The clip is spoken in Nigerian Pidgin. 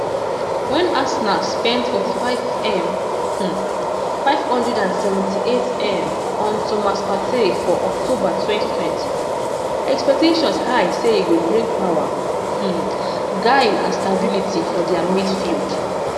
wen arsenal spend 45m um 578m on thomas partey for october 2020 expectations high say e go bring power um guile and stability for dia midfield